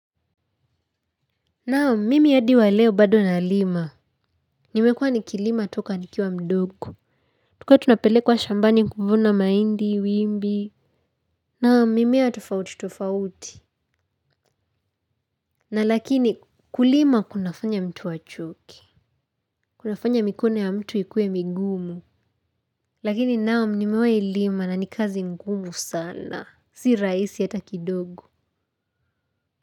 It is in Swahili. Naam, mimi hadi wa leo bado nalima. Nimekua nikilima toka nikiwa mdogo. Tulikua tunapelekwa shambani kuvuna maindi, wimbi. Naam, mimea tofauti tofauti. Na lakini kulima kunafanya mtu achoke. Kunafanya mikono ya mtu ikuwe migumu. Lakini naam, mimewai lima na ni kazi ngumu sana. Si raisi hata kidogo.